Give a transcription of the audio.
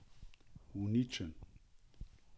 Uničen.